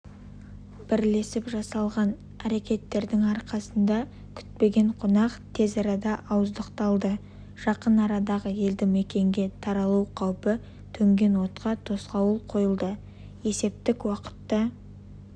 бірлесіп жасаған әрекеттердің арқасында күтпеген қонақ тез арада ауыздықталды жақын арадағы елді мекенге таралу қаупі төнген отқа тосқауыл қойылды есептік уақытта